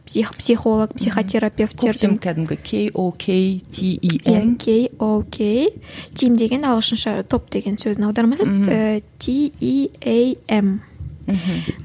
психолог психотерапертер де коктим кәдімгі кей о кей ти и эм ки о кей тим деген ағылшынша топ деген сөзінің аудармасы мхм ііі ти и ей эм мхм